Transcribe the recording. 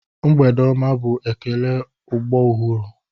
Mgbede ọma bụ ekele ọgbọ ọhụrụ.